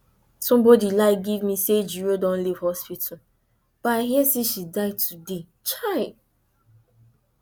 somebody lie give me say ejiro don leave hospital but i hear say she die today chai